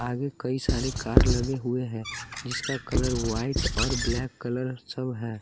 आगे कई सारे कार लगे हुए हैं जिसका कलर वाइट और ब्लैक कलर सब है।